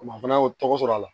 O ma fana y'o tɔgɔ sɔrɔ a la